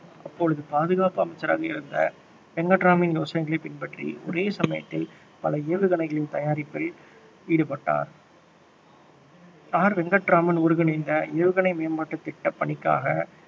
அப்பொழுது பாதுகாப்பு அமைச்சராக இருந்த வெங்கட்ராமனின் யோசனையைப் பின்பற்றி ஒரே சமையத்தில பல ஏவுகணைகளின் தயாரிப்பில் ஈடுபட்டார். ஆர் வெங்கட்ராமன் ஒருங்கிணைந்த ஏவுகணை மேம்பாட்டு திட்டப்பணிக்காக